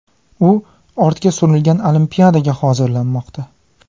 U ortga surilgan Olimpiadaga hozirlanmoqda.